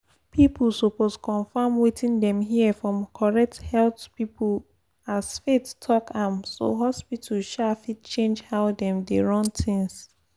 people suppose confirm wetin dem hear from correct health people as faith talk am so hospital um fit change how dem dey run things.